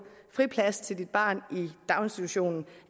friplads til dit barn i daginstitutionen